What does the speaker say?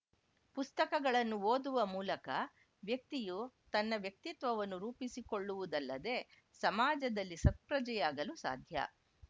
ಪುಸ್ತಕಗಳನ್ನು ಓದುವ ಮೂಲಕ ವ್ಯಕ್ತಿಯು ತನ್ನ ವ್ಯಕ್ತಿತ್ವವನ್ನು ರೂಪಿಸಿಕೊಳ್ಳುವುದಲ್ಲದೇ ಸಮಾಜದಲ್ಲಿ ಸತ್ಪ್ರಜೆಯಾಗಲು ಸಾಧ್ಯ